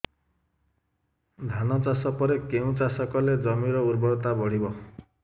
ଧାନ ଚାଷ ପରେ କେଉଁ ଚାଷ କଲେ ଜମିର ଉର୍ବରତା ବଢିବ